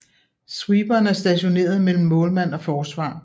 Sweeperen er stationeret mellem målmand og forsvar